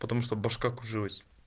потому что башка кружилась